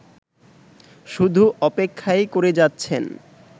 শুধু অপেক্ষাই করে যাচ্ছেন